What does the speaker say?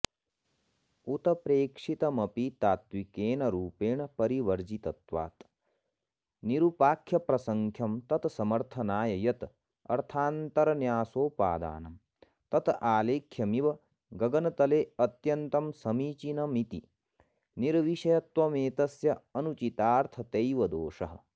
उत्प्रेक्षितमपि तात्विकेन रूपेण परिवर्जितत्वात् निरुपाख्यप्रख्यं तत्समर्थनाय यत् अर्थान्तरन्यासोपादानम् तत् आलेख्यमिव गगनतलेऽत्यन्तमसमीचीनमिति निर्विषयत्वमेतस्य अनुचितार्थतैव दोषः